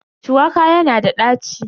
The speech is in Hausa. Shuwaka yana da ɗaci.